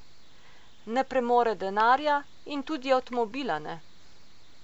Ne premore denarja in tudi avtomobila ne.